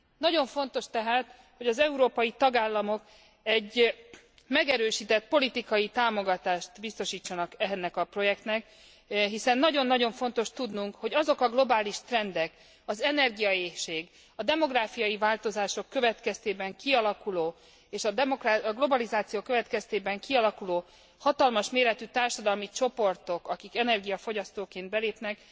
Nagyon fontos tehát, hogy az európai tagállamok egy megerősített politikai támogatást biztosítsanak ennek a projektnek, hiszen nagyon nagyon fontos tudnunk, hogy azok a globális trendek, az energiaéhség, a demográfiai változások következtében kialakuló és a globalizáció következtében kialakuló hatalmas méretű társadalmi csoportok, akik energiafogyasztóként belépnek,